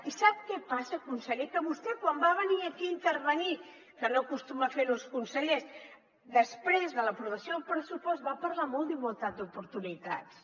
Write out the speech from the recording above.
i sap què passa conseller que vostè quan va venir aquí a intervenir que no acostumen a fer ho els consellers després de l’aprovació del pressupost va parlar molt d’igualtat d’oportunitats